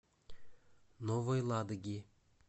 новой ладоги